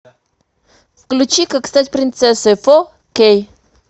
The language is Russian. включи как стать принцессой фо кей